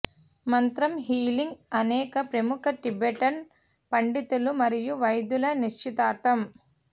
మంత్రం హీలింగ్ అనేక ప్రముఖ టిబెటన్ పండితులు మరియు వైద్యులు నిశ్చితార్థం